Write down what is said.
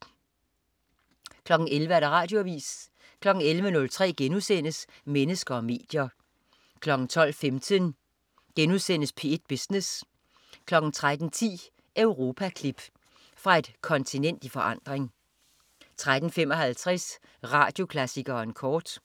11.00 Radioavis 11.03 Mennesker og medier* 12.15 P1 Business* 13.10 Europaklip. Fra et kontinent i forandring 13.55 Radioklassikeren kort